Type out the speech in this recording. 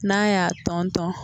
N'a y'a tɔntɔn